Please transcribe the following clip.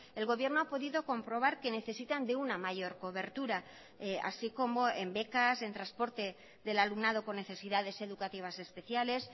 el gobierno ha podido comprobar que necesitan de una mayor cobertura así como en becas en transporte del alumnado con necesidades educativas especiales